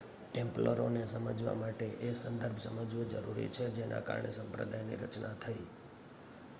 ટેમ્પ્લરોને સમજવા માટે એ સંદર્ભ સમજવો જરૂરી છે જેના કારણે સંપ્રદાયની રચના થઈ